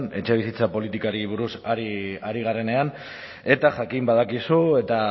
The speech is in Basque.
etxebizitza politikari buruz ari garenean eta jakin badakizu eta